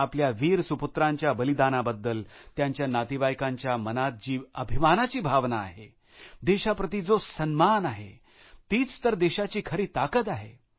आपल्या वीर सुपुत्रांच्या बलिदानाबद्दल त्यांच्या नातेवाईकांच्या मनात जी अभिमानाची भावना आहे देशाप्रती जो सन्मान आहेतीच तर देशाची खरी ताकद आहे